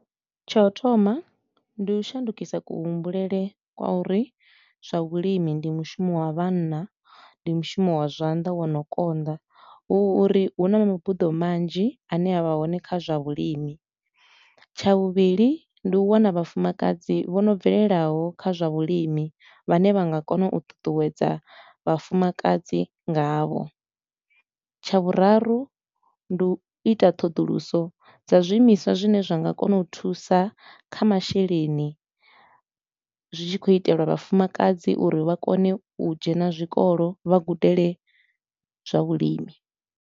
Tsha u thoma, ndi u shandukisa kuhumbulele kwa uri zwa vhulimi ndi mushumo wa vhanna, ndi mushumo wa zwanḓa wo no konḓa. Hu uri hu na mabuḓo manzhi a ne a vha hone kha zwa vhulimi, tsha vhuvhili ndi u wana vhafumakadzi vho no bvelelaho kha zwa vhulimi vhane vha nga kona u ṱuṱuwedza vhafumakadzi ngavho. Tsha vhuraru, ndi u ita ṱhoḓuluso dza zwiimiswa zwine zwa nga kona u thusa kha masheleni, zwi tshi khou itelwa vhafumakadzi uri vha kone u dzhena zwikolo, vha gudele zwa vhulimi.